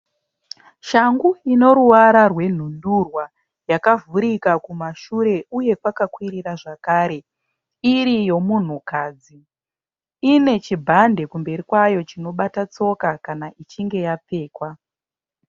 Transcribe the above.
Shangu inoruwara rwendundurwa yakavhurika kumashure uye kwakwirira zvakare iri yemunhukadzi. I ne chibhande kumberi kwayo chinobata tsoka kana ichinge yapfekwa.